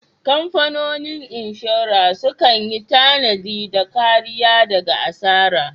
Kamfanonin inshora sukan yi tanadi da kariya daga asara.